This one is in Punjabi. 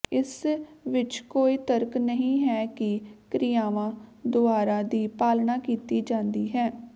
ਇਸ ਵਿਚ ਕੋਈ ਤਰਕ ਨਹੀਂ ਹੈ ਕਿ ਕ੍ਰਿਆਵਾਂ ਦੁਆਰਾ ਦੀ ਪਾਲਣਾ ਕੀਤੀ ਜਾਂਦੀ ਹੈ